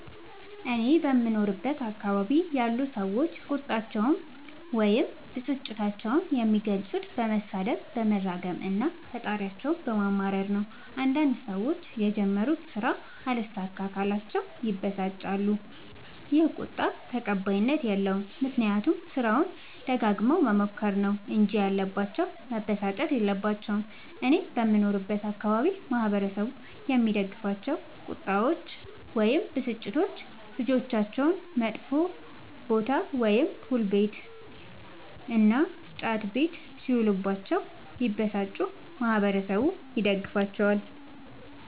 እኔ በምኖርበት አካባቢ ያሉ ሠዎች ቁጣቸዉን ወይም ብስጭታቸዉን የሚገልፁት በመሣደብ በመራገም እና ፈጣሪያቸዉን በማማረር ነዉ። አንዳንድ ሠዎች የጀመሩት ስራ አልሣካላቸዉ ካለ ይበሳጫሉ ይ። ይህ ቁጣ ተቀባይኀት የለዉም። ምክንያቱም ስራዉን ደጋግመዉ መሞከር ነዉ እንጂ ያለባቸዉ መበሳጨት የለባቸዉም። እኔ በምኖርበት አካባቢ ማህበረሰቡ የሚደግፋቸዉ ቁጣዎች ወይም ብስጭቶች ልጆቻቸዉ መጥፌ ቦታ[ፑል ቤት መጥ ቤት እና ጫት ቤት ]ሢዉሉባቸዉ ቢበሳጩ ማህበረሠቡ ይደግፋቸዋል።